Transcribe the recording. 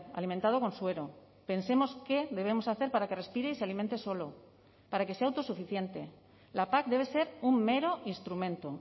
alimentado con suero pensemos qué debemos hacer para que respire y se alimente solo para que sea autosuficiente la pac debe ser un mero instrumento